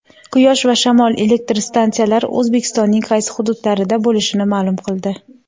quyosh va shamol elektr stansiyalar O‘zbekistonning qaysi hududlarida bo‘lishini ma’lum qildi.